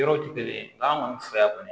Yɔrɔ tɛ kelen ye n'a kɔni fɛ yan kɔni